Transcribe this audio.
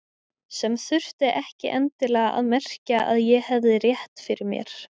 Sem þurfti ekki endilega að merkja að ég hefði rétt fyrir mér.